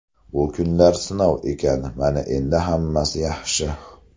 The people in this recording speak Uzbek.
Bu kunlar sinov ekan... Mana endi hammasi yaxshi.